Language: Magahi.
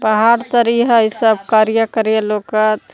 पहाड़ तरी हई सब करिया करिया लौकत।